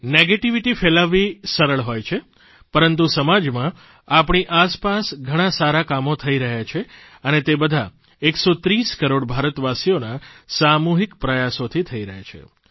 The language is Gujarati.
નકારાત્મકતા ફેલાવવી સરળ હોય છે પરંતુ સમાજમાં આપણી આસપાસ ઘણાં સારા કામો થઇ રહ્યાં છે અને તે બધાં 130 કરોડ ભારતવાસીઓના સામૂહિક પ્રયાસોથી થઇ રહ્યાં છે